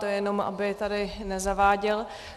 To jenom aby tady nezaváděl.